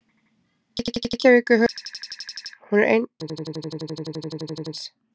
Reykjavík er höfuðborg Íslands. Hún er eina borg landsins.